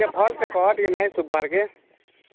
ଭଲ ସେ କହ ଶୁଭୁନି